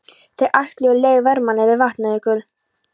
Þeir ætluðu leið vermanna yfir Vatnajökul.